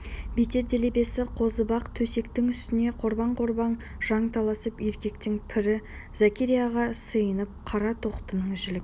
бетер делебесі қозып ақ төсектің үстінде қорбаң-қорбаң жанталасып еркектің пірі зәкәрияға сыйынып қара тоқтының жілік